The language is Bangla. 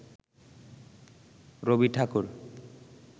রবি ঠাকুর